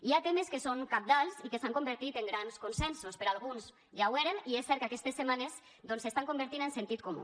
hi ha temes que són cabdals i que s’han convertit en grans consensos per a alguns ja ho eren i és cert que aquestes setmanes doncs s’estan convertint en sentit comú